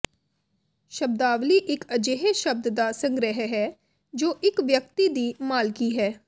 ਸ਼ਬਦਾਵਲੀ ਇਕ ਅਜਿਹੇ ਸ਼ਬਦ ਦਾ ਸੰਗ੍ਰਹਿ ਹੈ ਜੋ ਇਕ ਵਿਅਕਤੀ ਦੀ ਮਾਲਕੀ ਹੈ